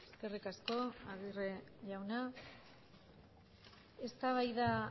eskerrik asko aguirre jauna eztabaida